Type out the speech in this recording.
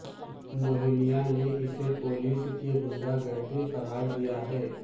موہنیا نے اسے پولیس کی غنڈہ گردی قرار دیا ہے